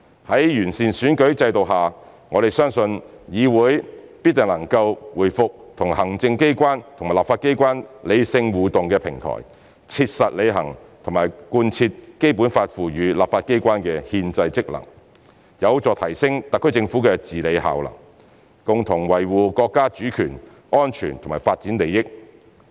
在經完善的選舉制度下，我們相信議會必定能夠回復為行政機關和立法機關理性互動的平台，切實履行和貫徹《基本法》賦予立法機關的憲制職能，有助提升特區政府的治理效能，共同維護國家主權、安全和發展利益。